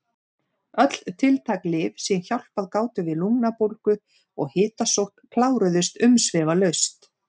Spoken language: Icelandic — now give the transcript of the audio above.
Öll tiltæk lyf sem hjálpað gátu við lungnabólgu og hitasótt kláruðust umsvifalaust.